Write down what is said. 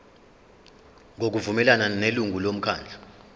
ngokuvumelana nelungu lomkhandlu